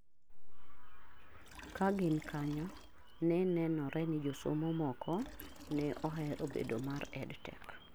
kagin kanyo ne nenore ni josomo moko ne ohero bedo mar EdTech